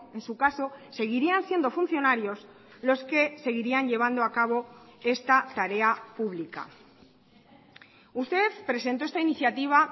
en su caso seguirían siendo funcionarios los que seguirían llevando a cabo esta tarea publica usted presentó esta iniciativa